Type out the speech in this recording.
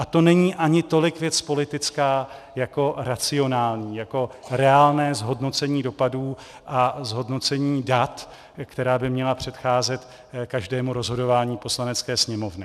A to není ani tolik věc politická jako racionální, jako reálné zhodnocení dopadů a zhodnocení dat, které by mělo předcházet každému rozhodování Poslanecké sněmovny.